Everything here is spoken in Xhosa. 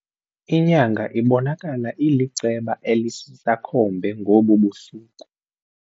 Inyanga ibonakala iliceba elisisakhombe ngobu busuku.